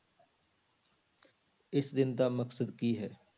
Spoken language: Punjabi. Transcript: ਇਸ ਦਿਨ ਦਾ ਮਕਸਦ ਕੀ ਹੈ?